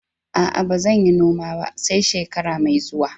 A'a, ba zan yi noma ba, sai shekara mai zuwa.